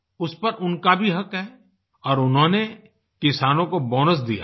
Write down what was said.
उस पर उनका भी हक़ है और उन्होंने किसानों को बोनस दिया है